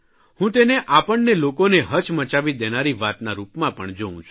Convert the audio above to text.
હું તેને આપણને લોકોને હચમચાવી દેનારી વાતના રૂપમાં પણ જોઉં છું